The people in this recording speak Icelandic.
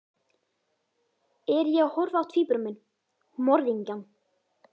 Er ég að horfa á tvíbura minn, morðingjann?